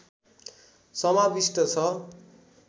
समाविष्ट छ